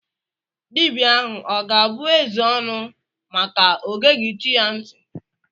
Dibia ahụ ọ ga-abụ eze ọnụ maka ọ geghi chi ya ntị.